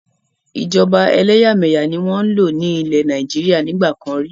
Ìjọba ẹlẹ́yà-mẹ̀yà ni wọn ń lò ní ilẹ́ Nàìjíríà nígbàkan rí.